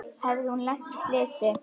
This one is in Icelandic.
Hafði hún lent í slysi?